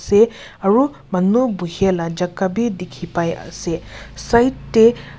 ite aru manu buhey la jaka bi dikhipai ase kinar teh.